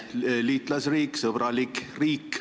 Itaalia on meie liitlasriik, meile sõbralik riik.